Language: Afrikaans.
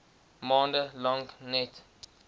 maande lank net